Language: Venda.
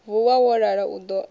vuwa wo lala u ḓo